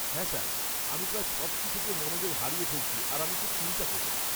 হ্যাঁ স্যার, আমি প্রায় সব কিছুতে মনোযোগ হারিয়ে ফেলছি আর আমি খুব চিন্তা করি।